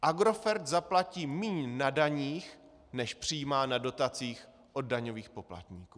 Agrofert zaplatí méně na daních, než přijímá na dotacích od daňových poplatníků.